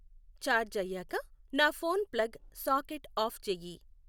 charge అయ్యాక నా phone plug socket off చెయ్యి